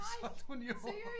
Solgte hun jo